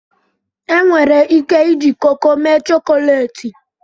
enwere ike iji koko mee chọkọleti